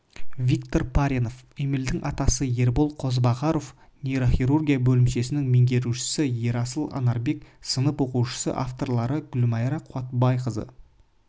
виктор паренов эмильдің атасы ербол қозыбағаров нейрохирургия бөлімшесінің меңгерушісі ерасыл анарбек сынып оқушысы авторлары гүлмайра қуатбайқызы